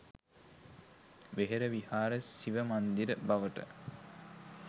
වෙහෙර විහාර සිව මන්දිර බවට